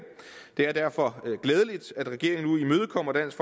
det er derfor glædeligt at regeringen nu imødekommer dansk